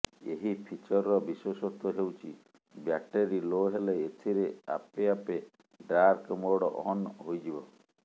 ଏହି ଫିଚରର ବିଶେଷତ୍ୱ ହେଉଛି ବ୍ୟାଟେରୀ ଲୋ ହେଲେ ଏଥିରେ ଆପେ ଆପେ ଡାର୍କ ମୋଡ୍ ଅନ୍ ହୋଇଯିବ